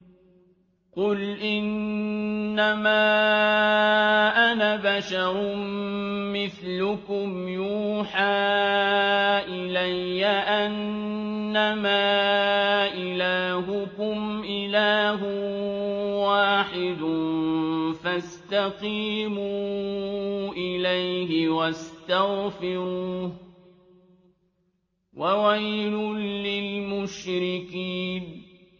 قُلْ إِنَّمَا أَنَا بَشَرٌ مِّثْلُكُمْ يُوحَىٰ إِلَيَّ أَنَّمَا إِلَٰهُكُمْ إِلَٰهٌ وَاحِدٌ فَاسْتَقِيمُوا إِلَيْهِ وَاسْتَغْفِرُوهُ ۗ وَوَيْلٌ لِّلْمُشْرِكِينَ